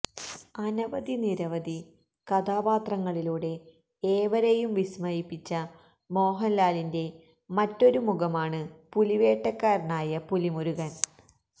അനവധി നിരവധി കഥപാത്രങ്ങളിലൂടെ ഏവരെയും വിസ്മയിപ്പിച്ച മോഹന്ലാലിന്റെ മറ്റൊരു മുഖമാണ് പുലിവേട്ടക്കാരനായ പുലിമുരുകന്